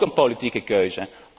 Ook een politieke keuze.